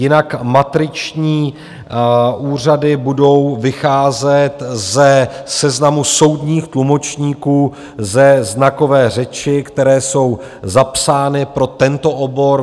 Jinak matriční úřady budou vycházet ze seznamu soudních tlumočníků ze znakové řeči, které jsou zapsány pro tento obor.